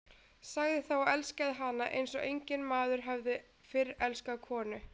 Sagði það og elskaði hana eins og enginn maður hafði fyrr elskað konu.